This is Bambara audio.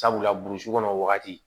Sabula burusi kɔnɔ wagati